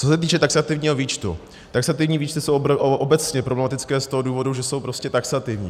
Co se týče taxativního výčtu - taxativní výčty jsou obecně problematické z toho důvodu, že jsou prostě taxativní.